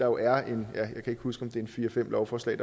jo er en fire fem lovforslag